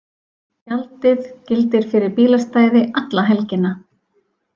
Gjaldið gildir fyrir bílastæði alla helgina